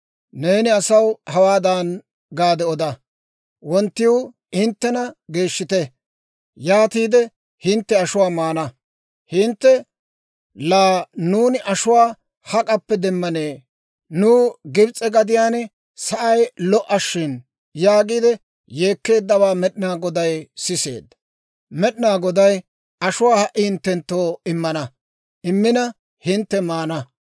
«Neeni asaw hawaadan gaade oda, ‹Wonttiw hinttena geeshshite; yaatiide hintte ashuwaa maana. Hintte, «Laa nuuni ashuwaa hak'appe demmanee? Nuw Gibs'e gadiyaan sa'ay lo"a shin!» yaagiide yeekkeeddawaa Med'inaa Goday siseedda. Med'inaa Goday ashuwaa ha"i hinttenttoo immana; immina hintte maana.